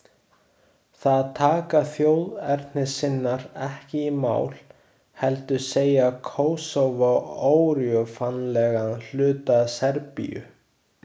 Það taka þjóðernissinnar ekki í mál, heldur segja Kósóvó órjúfanlegan hluta Serbíu.